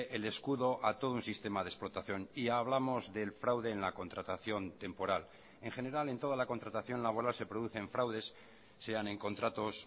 el escudo a todo un sistema de explotación y hablamos del fraude en la contratación temporal en general en toda la contratación laboral se producen fraudes sean en contratos